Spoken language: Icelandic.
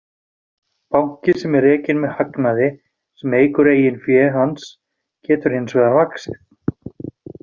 Banki sem er rekinn með hagnaði sem eykur eigin fé hans getur hins vegar vaxið.